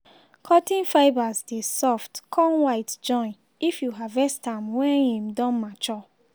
cotton fibres dey soft con white join if you harvest am wen im don mature